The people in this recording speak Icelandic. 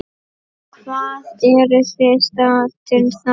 Hvar eruð þið staddir þar?